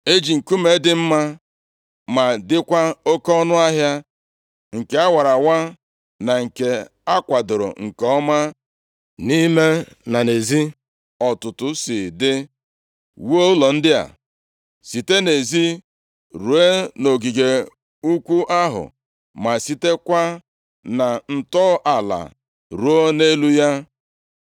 E ji nkume dị mma ma dịkwa oke ọnụahịa nke a wara awa na nke a kwadoro nke ọma nʼime na nʼezi dịka ọtụtụ si dị, wuo ụlọ ndị a. Site na ezi ruo nʼogige ukwu ahụ ma sitekwa na ntọala ruo nʼelu ya.